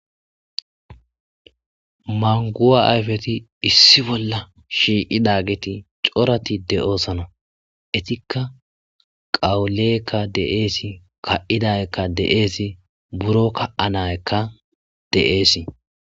manguwa ayfeti issi bolla shiiqidageti corati de7oosana etikka qawulekka deeesi ka7idayekka deeesi buro ka7a nayekka deeesi